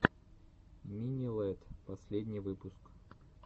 мини лэдд последний выпуск